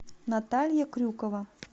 наталья крюкова